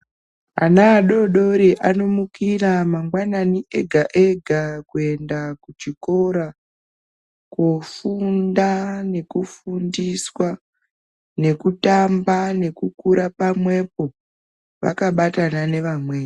Ana adodori anomukira mangwanani ega-ega kuenda kuchikora , koofunda nekufundiswa ,nekutamba nekukura pamwepo, vakabatana nevamweni.